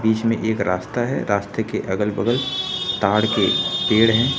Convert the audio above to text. बीच में एक रास्ता है रास्ते के अगल बगल ताड़ के पेड़ हैं।